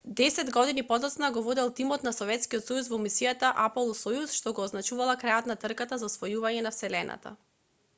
десет години подоцна го водел тимот на советскиот сојуз во мисијата аполо-сојуз што го означувала крајот на трката за освојување на вселената